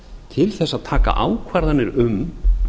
til þess að taka ákvarðanir um